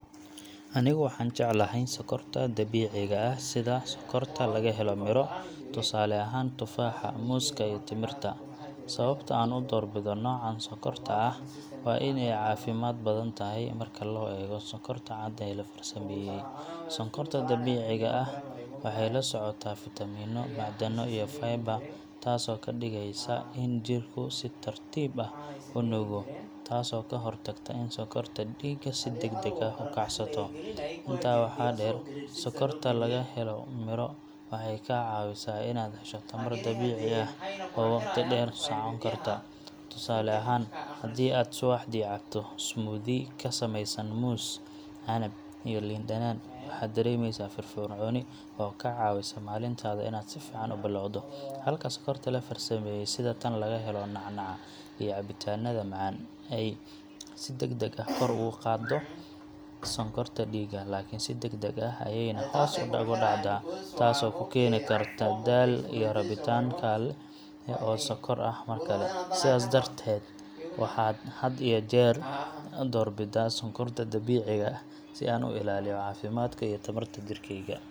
Anigu waxaan jeclahay sonkorta dabiiciga ah sida sonkorta laga helo miro, tusaale ahaan tufaaxa, muuska, iyo timirta. Sababta aan u doorbido noocan sonkorta ah waa in ay caafimaad badan tahay marka loo eego sonkorta cad ee la farsameeyey. Sonkorta dabiiciga ah waxay la socotaa fiitamiino, macdano, iyo fiber taasoo ka dhigeysa in jidhku si tartiib ah u nuugo, taasoo ka hortagta in sonkorta dhiigga si degdeg ah u kacsato. Intaa waxaa dheer, sonkorta laga helo miro waxay kaa caawisaa inaad hesho tamar dabiici ah oo waqti dheer socon karta. Tusaale ahaan, haddii aad subaxdii cabto smoothie ka samaysan muus, canab, iyo liin dhanaan, waxaad dareemeysaa firfircooni oo kaa caawisa maalintaada inaad si fiican u bilowdo. Halka sonkorta la farsameeyey sida tan laga helo nacnaca iyo cabitaannada macaan ay si degdeg ah kor ugu qaaddo sonkorta dhiigga, laakiin si degdeg ah ayayna hoos ugu dhacdaa taasoo kuu keeni karta daal iyo rabitaan kale oo sonkor ah mar kale. Sidaas darteed, waxaan had iyo jeer doorbidaa sonkorta dabiiciga ah si aan u ilaaliyo caafimaadka iyo tamarta jidhkayga.